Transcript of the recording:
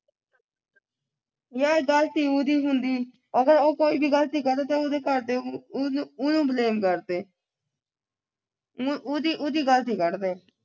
ਜੇ ਗਲਤੀ ਉਹਦੀ ਹੁੰਦੀ ਅਗਰ ਉਹ ਕੋਈ ਵੀ ਗੱਲਤੀ ਕਰੇ ਚਾਹੇ ਉਹਦੇ ਘਰਦੇ ਉਹਨੂੰ ਉਹਨੂੰ blame ਕਰਦੇ